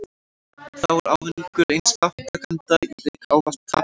Þá er ávinningur eins þátttakanda í leik ávallt tap annars.